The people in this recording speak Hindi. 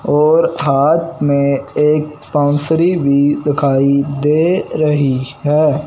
और हाथ में एक बांसुरी भी दिखाई दे रही है।